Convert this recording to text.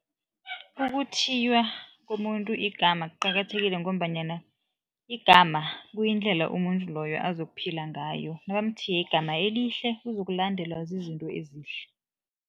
Ukuthiywa komuntu igama kuqakathekile ngombanyana igama kuyindlela umuntu loyo azokuphila ngayo. Nabamthiye igama elihle uzokulandelwa zizinto ezihle.